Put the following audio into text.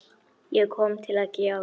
Ég kom til að gefa.